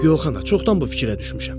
Yox, ana, çoxdan bu fikrə düşmüşəm.